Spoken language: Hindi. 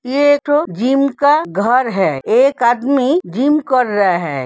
ये जिम का घर है। एक आदमी जिम कर रहा है।